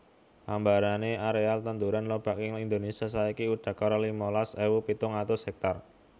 Ambane areal tanduran lobak ing Indonesia saiki udakara limalas ewu pitung atus hektar